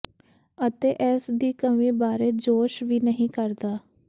ਅਤੇ ਇਸ ਦੀ ਕਮੀ ਬਾਰੇ ਜੋਸ਼ ਵੀ ਨਹੀਂ ਕਰਦਾ